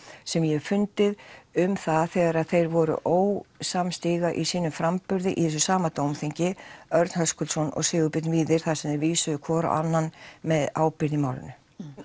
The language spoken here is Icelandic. sem ég hef fundið um það þegar þeir voru ósamstíga í sínum framburði í þessu sama dómþingi Örn Höskuldsson og Sigurbjörn Víðir þar sem þeir vísuðu hvor á annan með ábyrgð í málinu